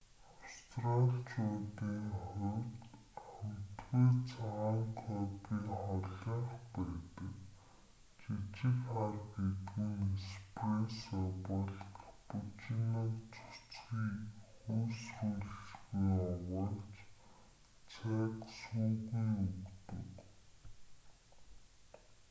австраличуудын хувьд амтгүй цагаан кофе холынх байдаг. жижиг хар гэдэг нь эспрессо бол каппучиног цөцгий хөөсрүүлэлгүй овоолж цайг сүүгүй өгдөг